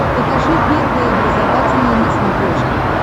покажи первый образовательный на смотрешке